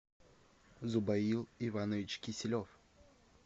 зубаил иванович киселев